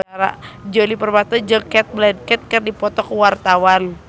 Djoni Permato jeung Cate Blanchett keur dipoto ku wartawan